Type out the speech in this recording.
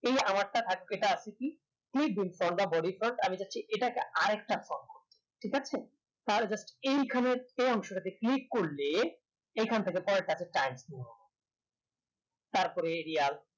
এই আর একটা আছে কি bodypart আর এর কাছে এটাকে ঠিক আছে তালে just এইখানে এই অংশটাকে click করলে এইখান থেকে তালে তাকে তারপরে